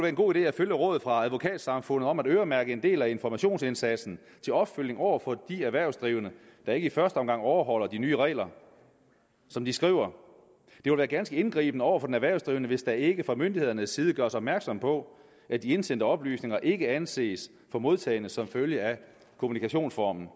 en god idé at følge rådet fra advokatsamfundet om at øremærke en del af informationsindsatsen til opfølgning over for de erhvervsdrivende der ikke i første omgang overholder de nye regler som de skriver det vil være ganske indgribende over for den erhvervsdrivende hvis der ikke fra myndighedernes side gøres opmærksom på at de indsendte oplysninger ikke anses for modtagne som følge af kommunikationsformen